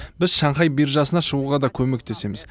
біз шанхай биржасына шығуға да көмектесеміз